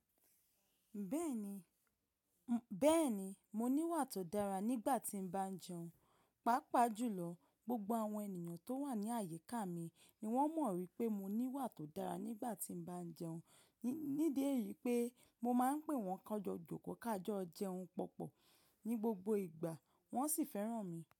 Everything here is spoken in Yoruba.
Bẹ́ẹ̀ni, bẹ́ẹ̀ni mo ní wà tó dára nígbà tí mo bá ń jẹun, pàápàá jùlọ gbogbo àwọn ènìyàn tó wà ní àyíká mi ni wón mọ̀ wípé mo ní wà tó dára nígbà tí mo bá ń jẹun. Ní idi èyí pé mo máa ń pè wọ́n kánjọ jòkó ká jọ jẹun pọ̀pọ̀ ní gbogbo ìgbà wón sì fẹ́ràn mi.